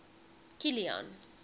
kilian